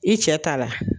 I cɛ ta la